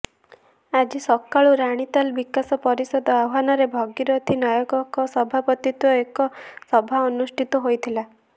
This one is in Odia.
ଆଜି ସକାଳୁ ରାଣୀତାଲ ବିକାଶ ପରିଷଦ ଆହ୍ୱାନରେ ଭାଗିରଥି ନାୟକଙ୍କ ସଭାପତିତ୍ୱରେ ଏକ ସଭା ଅନୁଷ୍ଠିତ ହୋଇଥିଲା